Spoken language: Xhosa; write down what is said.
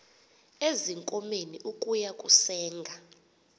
ezinkomeni ukuya kusenga